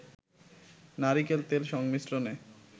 নারিকেল তেল সংমিশ্রণে